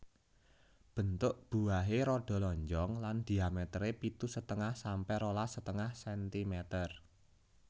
Bentuk buahe rada lonjong lan dhiametere pitu setengah sampe rolas setengah sentimeter